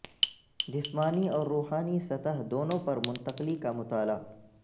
جسمانی اور روحانی سطح دونوں پر منتقلی کا مطالعہ